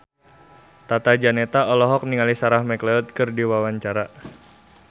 Tata Janeta olohok ningali Sarah McLeod keur diwawancara